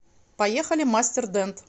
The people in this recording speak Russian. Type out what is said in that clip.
поехали мастер дент